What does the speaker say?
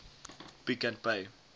pick and pay